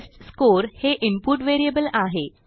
test score हे input variable आहे